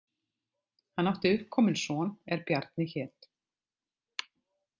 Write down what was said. Hann átti uppkominn son er Bjarni hét.